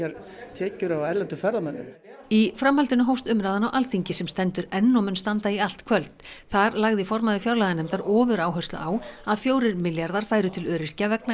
tekjur af erlendum ferðamönnum í framhaldinu hófst umræðan á Alþingi sem stendur enn og mun standa í allt kvöld þar lagði formaður fjárlaganefndar ofuráherslu á að fjórir milljarðar færu til öryrkja vegna